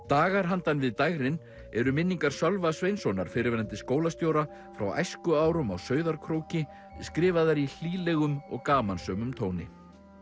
dagar handan við dægrin eru minningar Sölva Sveinssonar fyrrverandi skólastjóra frá æskuárum á Sauðárkróki skrifaðar í hlýlegum og gamansömum tóni